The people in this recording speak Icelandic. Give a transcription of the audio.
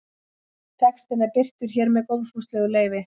Textinn er birtur hér með góðfúslegu leyfi.